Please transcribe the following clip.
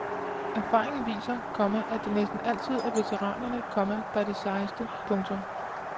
Erfaringen viser, komma at det næsten altid er veteranerne, komma der er de sejeste. punktum